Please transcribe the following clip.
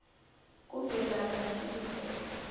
kuvelabahlinze